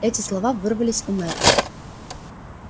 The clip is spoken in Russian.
эти слова вырвались у мэтта